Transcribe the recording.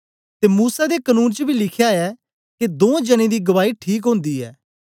ते मूसा दे कनून च बी लिख्या ऐ के दों जनें दी गवाई ठीक ओंदी ऐ